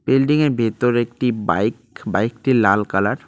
Building -এর ভেতর একটি বাইক বাইক -টি লাল কালার ।